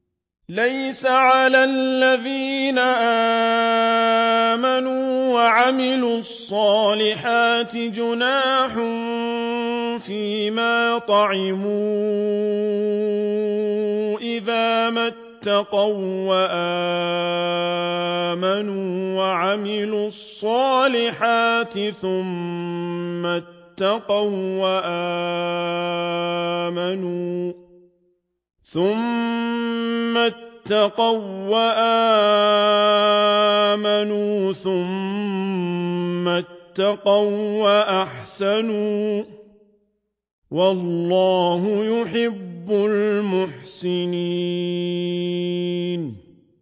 لَيْسَ عَلَى الَّذِينَ آمَنُوا وَعَمِلُوا الصَّالِحَاتِ جُنَاحٌ فِيمَا طَعِمُوا إِذَا مَا اتَّقَوا وَّآمَنُوا وَعَمِلُوا الصَّالِحَاتِ ثُمَّ اتَّقَوا وَّآمَنُوا ثُمَّ اتَّقَوا وَّأَحْسَنُوا ۗ وَاللَّهُ يُحِبُّ الْمُحْسِنِينَ